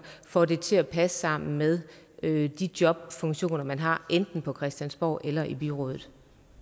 får det til at passe sammen med de jobfunktioner man har enten på christiansborg eller i byrådet